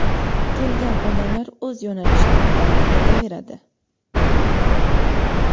kelgan odamlar o‘z yo‘nalishida davom etaveradi.